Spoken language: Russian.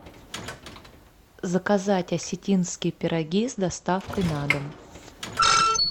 заказать осетинские пироги с доставкой на дом